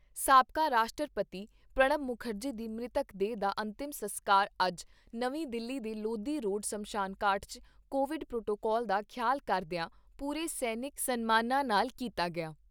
ਸਾਬਕਾ ਰਾਸ਼ਟਰਪਤੀ ਪ੍ਰਣਬ ਮੁਖਰਜੀ ਦੀ ਮ੍ਰਿਤਕ ਦੇਹ ਦਾ ਅੰਤਮ ਸਸਕਾਰ ਅੱਜ ਨਵੀਂ ਦਿੱਲੀ ਦੇ ਲੋਧੀ ਰੋਡ ਸ਼ਮਸ਼ਾਨ ਘਾਟ 'ਚ ਕੋਵਿਡ ਪ੍ਰੋਟੋਕਾਲ ਦਾ ਖਿਆਲ ਕਰਦਿਆਂ, ਪੂਰੇ ਸੈਨਿਕ ਸਨਮਾਨਾਂ ਨਾਲ ਕੀਤਾ ਗਿਆ।